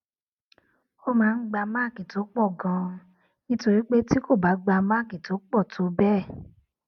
ó máa ń gba máàkì tó pò ganan nítorí pé tí kò bá gba máàkì tó pò tó béè